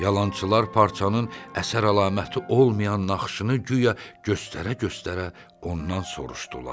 Yalançılar parçanın əsər əlaməti olmayan naxışını guya göstərə-göstərə ondan soruşdular.